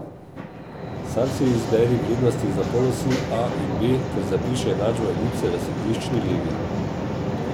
Sam si izberi vrednosti za polosi a in b ter zapiši enačbo elipse v središčni legi.